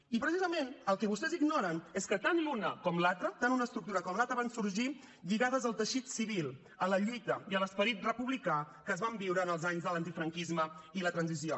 i precisament el que vostès ignoren és que tant l’una com l’altra tant una estructura com l’altra van sorgir lligades al teixit civil a la lluita i a l’esperit republicà que es van viure en els anys de l’antifranquisme i la transició